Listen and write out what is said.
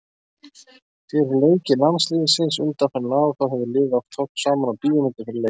Fyrir leiki landsliðsins undanfarin ár þá hefur liðið oft horft saman á bíómyndir fyrir leiki.